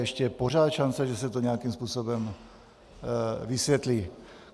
Ještě je pořád šance, že se to nějakým způsobem vysvětlí.